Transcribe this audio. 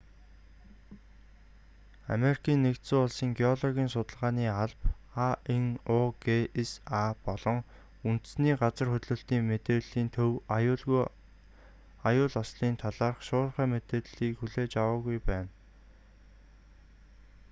америкийн нэгдсэн улсын геологийн судалгааны алба анугса болон үндэсний газар хөдлөлтийн мэдээллийн төв аюул ослын талаарх шуурхай мэдээ хүлээж аваагүй байна